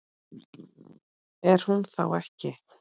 Er hún þá ekki.?